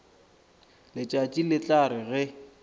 letšatši le tla re ge